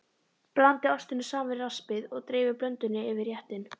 Blandið ostinum saman við raspið og dreifið blöndunni yfir réttinn.